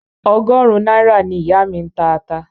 Ọgọrun náírà ni ìyá mi ń ta ata.